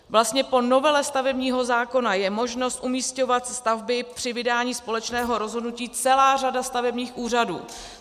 Vlastně po novele stavebního zákona je možnost umísťovat stavby při vydání společného rozhodnutí celá řada stavebních úřadů.